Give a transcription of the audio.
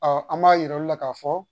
an b'a yir'aw la k'a fɔ